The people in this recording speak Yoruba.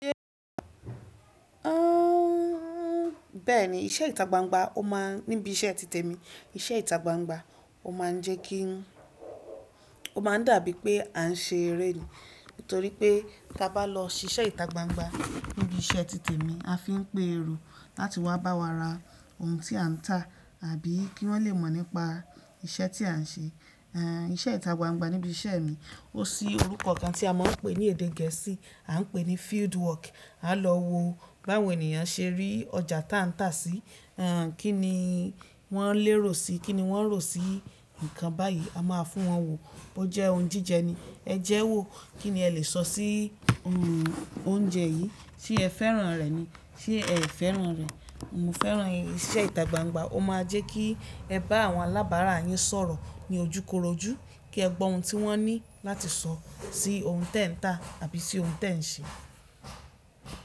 Bẹ́ẹ̀ni iṣẹ́ ìta gbangba ó ma níbi iṣẹ́ ti tèmi. Iṣẹ́ ìta gbangba ó máa ń jẹ́ kí, ó máa dàbí pé a ń ṣe eré ni. Nítorí pé tí a bá lọ ṣíṣe ìtagbangba níbi iṣẹ́ ti tèmi a fi ń pe èrò láti wá bá wa ra ohun tí a ń tà àbí kí wọ́n lè mọ̀ nípa iṣẹ́ tí à ń ṣe. Iṣẹ́ ìtagbangba níbi iṣẹ́ mi, ó sí orúkọ kan tí a máa ń pè ní èdè Gẹ̀ẹ́sì, à ń pè ní field work. A lọ wo báwo ènìyàn ṣe rí ọjà tí à ń tà sí, kí ni wọ́n lérò sí i, kí ni wọ́n rò sí nǹkan báyìí. A máa fún wọn wò bó jẹ́ ohun jíjẹ ni. Ẹ jẹ́ wò, kí ni ẹ lè sọ sí oúnjẹ yìí? Ṣé ẹ fẹ́ràn rẹ̀ ni? Ṣé ẹ fẹ́ràn rẹ̀? Mo fẹ́ràn rẹ̀. Iṣẹ́ ìtagbangba ó máa jẹ́ kí ẹ bá àwọn alábàárà yín sọ̀rọ̀ ní ojúkorojú, kí ẹ gbọ́ ohun tí wọ́n ní láti sọ sí ohun tẹ ń tà àbí sí ohun tẹ ń ṣe.